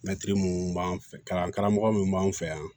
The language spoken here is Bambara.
Mɛtiri minnu b'an fɛ kalan karamɔgɔ minnu b'an fɛ yan